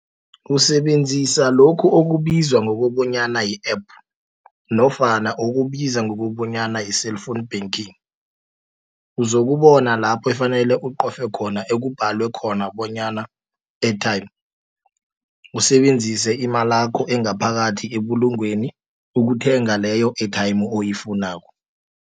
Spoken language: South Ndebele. Usebenzisa lokhu okubizwa ngokobonyana yi-app, nofana okubiza ngokobonyana yi-cellphone banking. Uzokubona laphe efanele qofe khona ekubalwe khona bonyana airtime, usebenzise imalakho engaphakathi ebulungweni, ukuthenga leyo airtime, oyifunako.